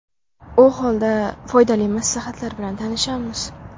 U holda, foydali maslahatlar bilan tanishamiz.